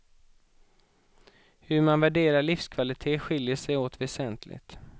Hur man värderar livskvalitet skiljer sig åt väsentligt.